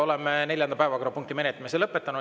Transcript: Oleme neljanda päevakorrapunkti menetlemise lõpetanud.